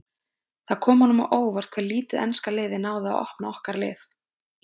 Kom það honum á óvart hve lítið enska liðið náði að opna okkar lið?